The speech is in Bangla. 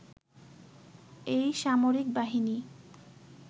এই সামরিক বাহিনী